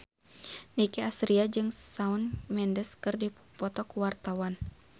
Nicky Astria jeung Shawn Mendes keur dipoto ku wartawan